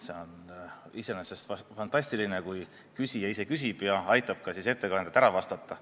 See on iseenesest fantastiline, kui küsija ise küsib ja aitab siis ka ettekandjal ära vastata.